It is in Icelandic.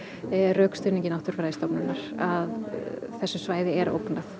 rökstuðningi Náttúrufræðistofnunar að þessu svæði er ógnað